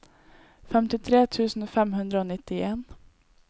femtitre tusen fem hundre og nittien